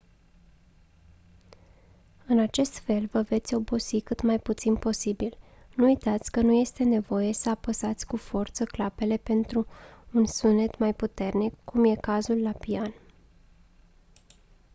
în acest fel vă veți obosi cât mai puțin posibil nu uitați că nu este nevoie să apăsați cu forță clapele pentru un sunet mai puternic cum e cazul la pian